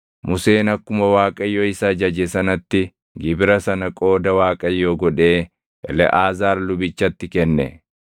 Museen akkuma Waaqayyo isa ajaje sanatti gibira sana qooda Waaqayyoo godhee Eleʼaazaar lubichatti kenne.